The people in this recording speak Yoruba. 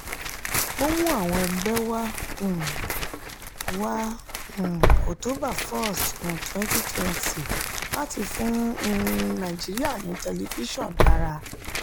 ó mú àwọn ẹgbẹ́ wá um wá um october 1 um 2020 láti fún um nàìjíríà ní tẹlifíṣọ̀n dára.